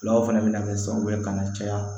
Fulaw fana bɛna kɛ sababu ye ka na caya